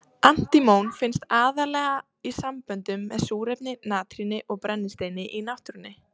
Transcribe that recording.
Antímon finnst aðallega í samböndum með súrefni, natríni og brennisteini í náttúrunni.